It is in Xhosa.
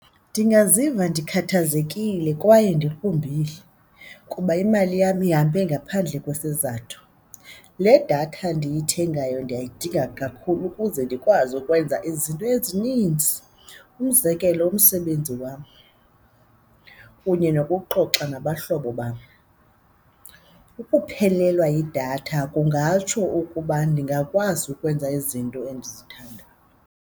Ndingaziva ndikhathazekile kwaye ndiqumbile kuba imali yam ihambe ngaphandle kwesizathu. Le datha ndiyithengayo ndiyayidinga kakhulu ukuze ndikwazi ukwenza izinto ezininzi. Umzekelo umsebenzi wam kunye nokuxoxa nabahlobo bam. Ukuphelelwa yidatha kungatsho ukuba ndingakwazi ukwenza izinto endizithandayo.